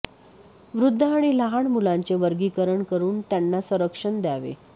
वृद्ध आणि लहान मुलांचे वर्गीकरण करून त्यांना संरक्षण द्यावे